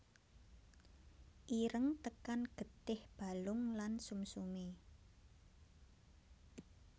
Ireng tekan getih balung lan sumsume